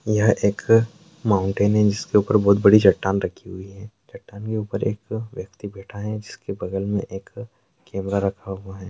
यह एक माउंटेन है जिसके ऊपर बहुत बड़ी चट्टान रखी हुई है चट्टान के ऊपर एक व्यक्ति बैठा है जिसके बगल मै एक कैमरा रखा हुआ है।